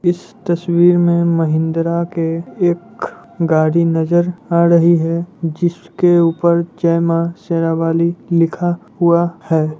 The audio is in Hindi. इस तसवीर मे महिंदरा के एक गाड़ी नजर आ रही है जिसके ऊपर जय माँ शेरावाली लिखा है।